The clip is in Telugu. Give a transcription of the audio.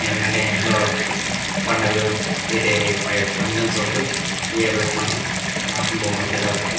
ఎందుకంటే ఇంట్లో పండగలు ఫంక్షన్స్ అప్పుడు ఇవే పెట్టుకుంటాం వాసనా బాగుతుంటది కాబట్టి --